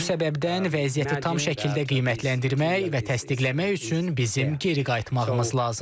Bu səbəbdən vəziyyəti tam şəkildə qiymətləndirmək və təsdiqləmək üçün bizim geri qayıtmağımız lazımdır.